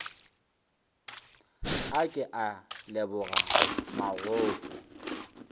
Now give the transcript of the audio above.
a ke a leboga mogopo